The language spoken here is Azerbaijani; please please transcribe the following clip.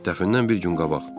Dəfnədən bir gün qabaq.